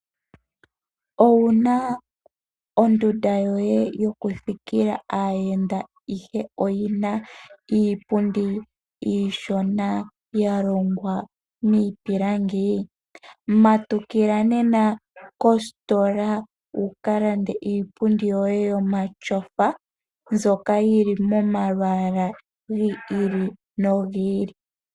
Owuna ondunda yoye yokuthikala aayenda ihe oyina iipundi iishona ya longwa miipilangi matukila nena kositola wuka lande iipundi yoye yomatsofa mbyoka yili momalwaala gi ili nogi ili.